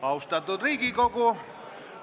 Austatud Riigikogu!